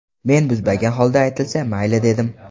Men buzmagan holda aytilsa, mayli dedim.